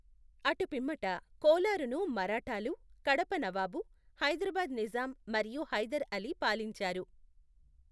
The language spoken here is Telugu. అటుపిమ్మట కోలారును మరాఠాలు, కడప నవాబు, హైదరాబాద్ నిజాం, మరియు హైదర్ అలీ పాలించారు.